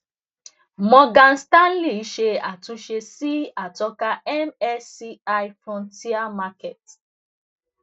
morgan stanley ṣe àtúnṣe sí atọka msci frontier markets